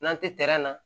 N'an tɛ na